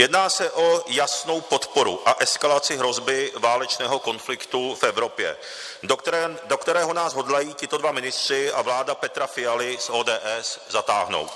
Jedná se o jasnou podporu a eskalaci hrozby válečného konfliktu v Evropě, do kterého nás hodlají tito dva ministři a vláda Petra Fialy z ODS zatáhnout.